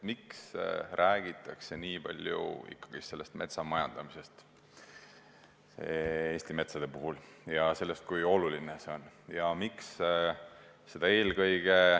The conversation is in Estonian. Miks räägitakse Eesti metsade puhul nii palju metsamajandamisest ja sellest, kui oluline see on?